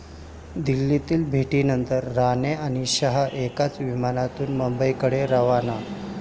दिल्लीतील भेटीनंतर राणे आणि शहा एकाच विमानातून मुंबईकडे रवाना!